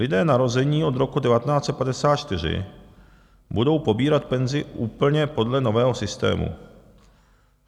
Lidé narození od roku 1954 budou pobírat penzi úplně podle nového systému.